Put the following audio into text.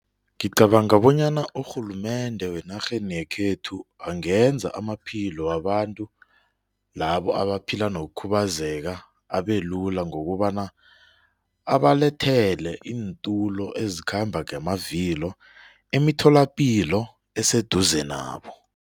Ngicabanga bonyana urhulumende wenarheni yekhethu angenza amaphilo wabantu labo abaphila nokukhubazeka abelula ngokobana abalethele iintulo ezikhamba ngamavilo emitholapilo eseduze nabo.